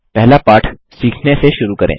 पहला पाठ सीखने से शुरू करें